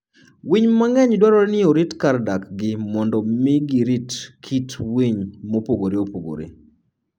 Winy mang'eny dwarore ni orit kar dakgi mondo omi girit kit winy mopogore opogore.